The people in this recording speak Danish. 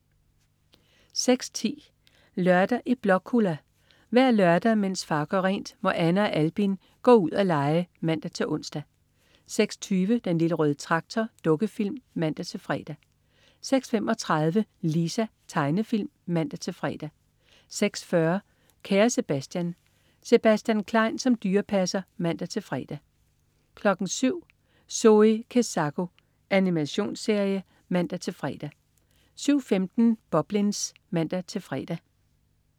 06.10 Lørdag i Blåkulla. Hver lørdag, mens far gør rent, må Anna og Albin gå ud at lege (man-ons) 06.20 Den Lille Røde Traktor. Dukkefilm (man-fre) 06.35 Lisa. Tegnefilm (man-fre) 06.40 Kære Sebastian. Sebastian Klein som dyrepasser (man-fre) 07.00 Zoe Kezako. Animationsserie (man-fre) 07.15 Boblins (man-fre)